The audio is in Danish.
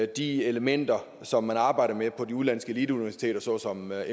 de elementer som man arbejder med på de udenlandske eliteuniversiteter såsom mit